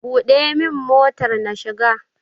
Buɗe min motar na shiga!